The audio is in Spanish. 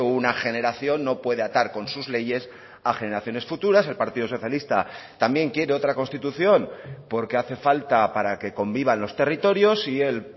una generación no puede atar con sus leyes a generaciones futuras el partido socialista también quiere otra constitución porque hace falta para que convivan los territorios y el